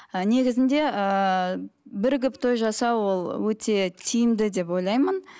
ыыы негізінде ііі бірігіп той жасау ол өте тиімді деп ойлаймын